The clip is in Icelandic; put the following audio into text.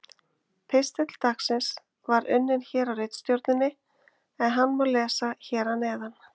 Pistill dagsins var unninn hér á ritstjórninni en hann má lesa hér að neðan: